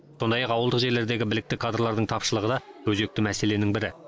сондай ақ ауылдық жерлердегі білікті кадрлардың тапшылығы да өзекті мәселенің бірі